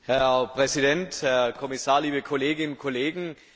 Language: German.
Herr Präsident, Herr Kommissar, liebe Kolleginnen und Kollegen!